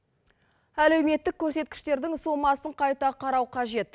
әлеуметтік көрсеткіштердің сомасын қайта қарау қажет